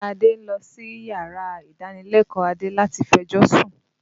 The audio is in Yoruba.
Ìya Adé ń lọ síyàrá ìdánilẹ́kọ̀ọ́ Adé láti fẹjọ́sún